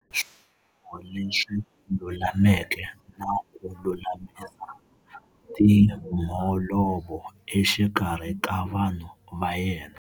Swiboho leswi lulameke na ku lulamisa timholovo exikarhi ka vanhu va yena.